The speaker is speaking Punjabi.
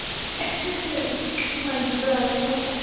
ਹਾਂਜੀ ਬੁਲਾ ਲਈਏ ਮੈਂ ਕਿਹਾ